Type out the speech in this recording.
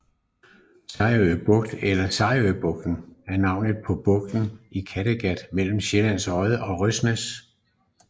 Sejerø Bugt eller Sejerøbugten er navnet på bugten i Kattegat mellem Sjællands Odde og Røsnæs